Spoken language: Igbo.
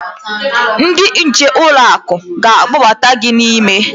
Ndị nche ụlọ akụ ga-akpọbata gị n'ime.